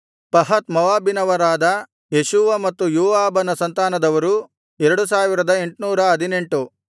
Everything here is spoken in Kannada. ಪಹತ್ ಮೋವಾಬಿನವರಾದ ಯೇಷೂವ ಮತ್ತು ಯೋವಾಬನ ಸಂತಾನದವರು 2818